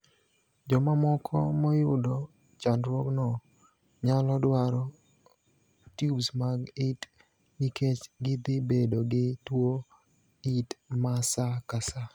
Jomamoko moyudo chandruogno nyalo dwaro tiubs mag it nikech gidhibedo gi tuo it masa kasa.